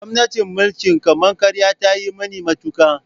Gwamnatin mulkin kama karya ta yi muni matuka.